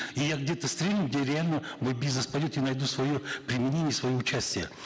и я где то стрельну где я реально мой бизнес пойдет я найду свое применение свое участие